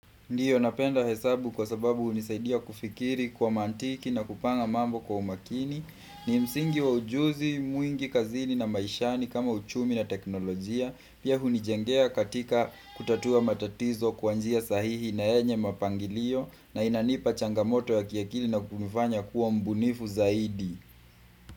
Ndiyo napenda hesabu kwa sababu unisaidia kufikiri kwa mantiki na kupanga mambo kwa umakini ni msingi wa ujuzi, mwingi kazini na maishani kama uchumi na teknolojia Pia hunijengea katika kutatua matatizo kwa njia sahihi na enye mapangilio na inanipa changamoto ya kiakili na kunifanya kuwa mbunifu zaidi.